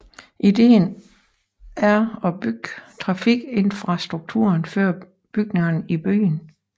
Ideen er at bygge trafikinfrastrukturen før bygningerne i byen